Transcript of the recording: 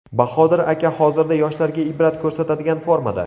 Bahodir aka hozirda yoshlarga ibrat ko‘rsatadigan formada.